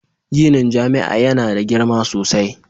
Ginin jami'a yana da girma sosai.